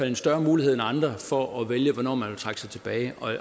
en større mulighed end andre for at vælge hvornår man vil trække sig tilbage